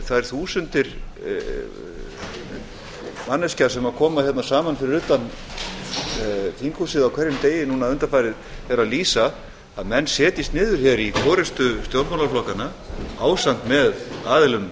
þær þúsundir manneskja sem koma hérna saman fyrir utan þinghúsið á hverjum degi núna undanfarið er að lýsa að menn setjist niður í forustu stjórnmálaflokkanna ásamt með aðilum